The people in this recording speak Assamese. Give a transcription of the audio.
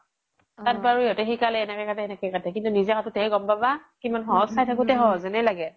তাত বাৰু সিহ্'তে শিকালে এনেকে কাতে সেনেকে কাতে কিন্তু নিজে কতুতেহে গ্'ম পাবা কিমান সহজ চাই থাকোতে সহজ যেনেএ লাগে